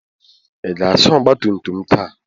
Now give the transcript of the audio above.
Ị ga-asa ọgba tum tum taa?